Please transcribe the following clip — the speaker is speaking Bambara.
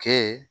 Kɛ